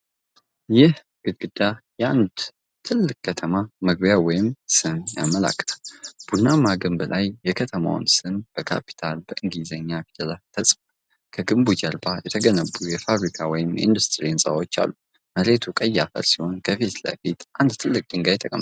ይህ ግድግዳ የአንድን ትልቅ ከተማ መግቢያ ወይም ስም ያመለክታል። ቡናማው ግንብ ላይ የከተማው ስም በካፒታል የእንግሊዝኛ ፊደላት ተጽፏል። ከግንቡ ጀርባ የተገነቡ የፋብሪካ ወይም የኢንዱስትሪ ህንጻዎች አሉ። መሬቱ ቀይ አፈር ሲሆን ከፊት አንድ ትልቅ ድንጋይ ተቀምጧል።